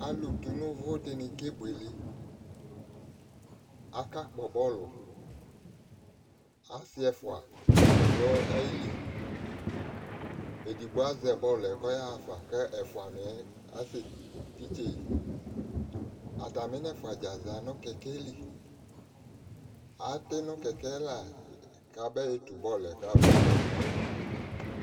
alò tu n'uvò di ni ke buele aka kpɔ bɔlu asi ɛfua do ayili edigbo azɛ bɔlu yɛ k'ɔya ɣa fa k'ɛfua niɛ asɛ titse yi atami nɛfua za no kɛkɛ li ati no kɛkɛ la ka be tu bɔlu yɛ ka ba kpɔ